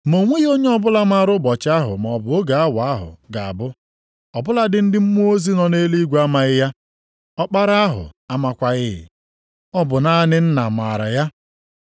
“Ma o nweghị onye ọbụla maara ụbọchị ahụ, maọbụ oge awa ahụ ga-abụ. Ọ bụladị ndị mmụọ ozi nọ nʼeluigwe amaghị ya. Ọkpara ahụ amakwaghị. Ọ bụ naanị Nna maara ya.